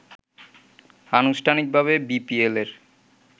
আনুষ্ঠানিকভাবে বিপিএল-এর